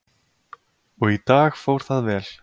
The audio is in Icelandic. Og í dag fór það vel.